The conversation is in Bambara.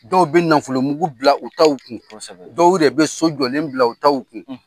Dɔw bɛ nafolomugu bila u taw kun dɔw yɛrɛ bɛ so jɔlen bila u taw kun.